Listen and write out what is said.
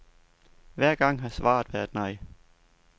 Hver gang har svaret været nej.